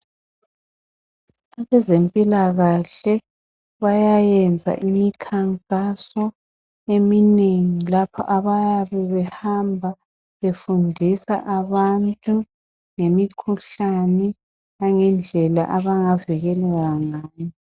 Abezempilakahle bayayenza imikhankaso eminengi lapho abayabebehamba befundisa abantu ngemikhuhlane langendlela abangavikeleka ngayo ngayo